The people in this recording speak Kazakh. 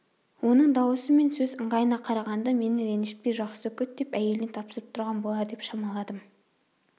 оның дауысы мен сөз ыңғайына қарағанда мені ренжітпей жақсы күт деп әйеліне тапсырып тұрған болар деп шамаладым